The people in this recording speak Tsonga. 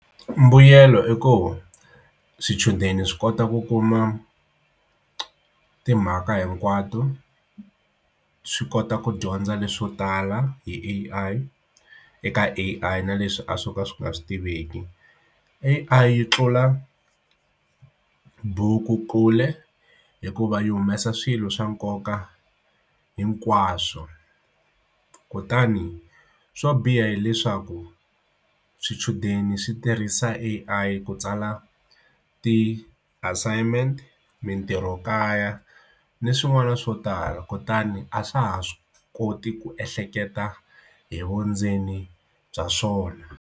Mbuyelo eku swichudeni swi kota ku kuma timhaka hinkwato swi kota ku dyondza leswo tala hi A_I eka A_I na leswi a swo ka swi nga swi tiveki A_I yi tlula buku ekule hikuva yi humesa swilo swa nkoka hinkwaswo kutani swo biha hileswaku swichudeni swi tirhisa A_I ku tsala ti-assignment mintirho kaya ni swin'wana swo tala kutani a swa ha swi koti ku ehleketa hi vundzeni bya swona.